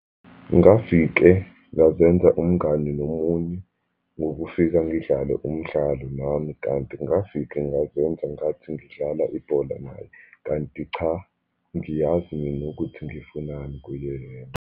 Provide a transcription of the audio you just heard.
Ngafike ngazenza umngani nomunye, ngokufika ngidlale umdlalo nami, kanti ngafike ngazenza ngathi ngidlala ibhola naye. Kanti cha, ngiyazi mina ukuthi ngifunani kuyena.